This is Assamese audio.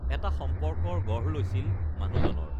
এটা সম্পৰ্কৰ গঢ় লৈছিল মানুহজনৰ